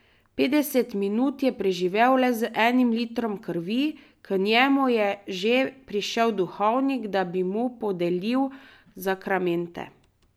Petdeset minut je preživel le z enim litrom krvi, k njemu je že prišel duhovnik, da bi mu podelil zakramente ...